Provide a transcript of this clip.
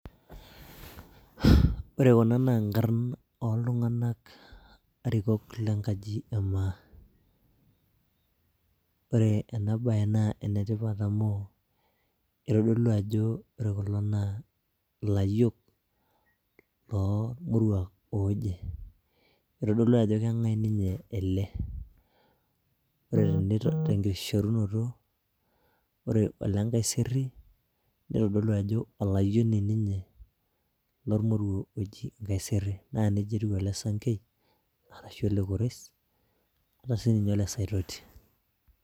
Ore Kuna naa nkarn ooltunganak arikoko le nkaji e maa. Ore ena bae naa ene tipat amu itodolu ajo ore Kuna naa ilayiok, oomoruak ooje, itodolu ajo keng'as ninye ele, ore tenkishorinoto, ore ele nkaiseeri naa olayioni ninye lormoruo oji nkaiseeri, naa nejia etiu ole sankei, arashu ole kores, ata sii ninye ole saitoti.